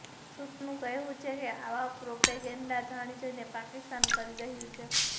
સૂત્રોનું કહેવું છે કે આવો પ્રોપેગેન્ડા જાણીજોઈને પાકિસ્તાન કરી રહ્યું છે